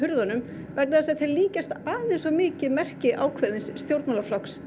vegna þess að þeir líkjast aðeins of mikið merki ákveðins stjórnmálaflokks